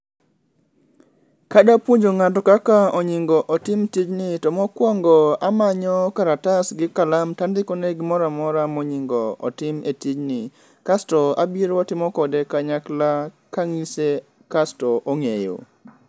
Kadapuonjo ng'ato kaka onyingo otim tijni to mokwongo amonyo kalatas gi kalam tandikone gimoramora monyingo otim e tijni. Kasto abiro watimo kode kanyakla kang'ise kasto ong'eyo.